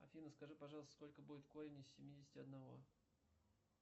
афина скажи пожалуйста сколько будет корень из семидесяти одного